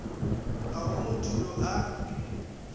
ga go motho yo a